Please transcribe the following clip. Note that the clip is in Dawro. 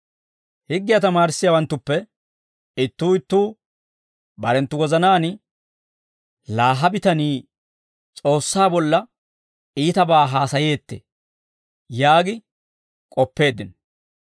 Higgiyaa tamaarissiyaawanttuppe ittuu ittuu barenttu wozanaan, «Laa ha bitanii S'oossaa bolla iitabaa haasayeettee!» yaagi k'oppeeddino.